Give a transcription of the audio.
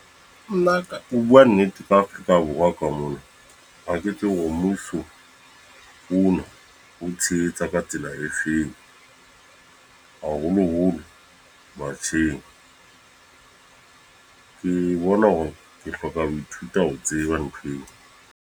Nna ho bua nnete ka Afrika Borwa ka mona ha ke tsebe hore mmuso, ona o tshehetsa ka tsela e feng haholoholo batjheng ke bona hore ke hloka ho ithuta ho tseba ntho eo.